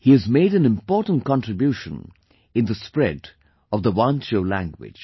He has made an important contribution in the spread of Wancho language